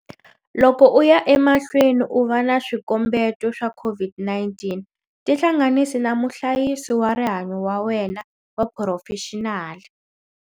Loko u ya emahlweni u va na swikombeto swa COVID-19 tihlanganisi na muhlayisi wa rihanyo wa wena wa phurofexinali.